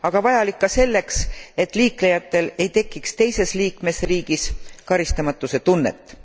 Aga vajalik ka selleks, et liiklejatel ei tekiks teises liikmesriigis karistamatuse tunnet.